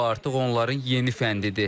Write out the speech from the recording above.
Bu artıq onların yeni fəndidir.